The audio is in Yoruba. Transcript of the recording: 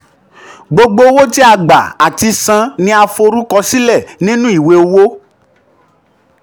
gbogbo owo ti a gba ati san ni a forukọ sile ninu iwe owo.